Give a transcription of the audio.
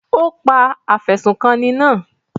Ó pa afẹ̀sùnkanni náà?